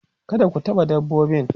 kada ku taɓa dabbobin